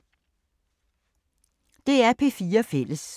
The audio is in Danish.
DR P4 Fælles